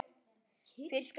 Fyrir skatt.